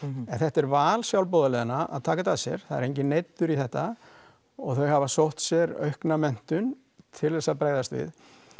en þetta er val sjálfboðaliðanna að taka þetta að sér það er enginn neyddur í þetta og þau hafa sótt sér aukna menntun til þess að bregðast við